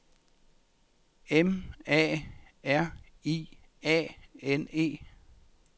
M A R I A N E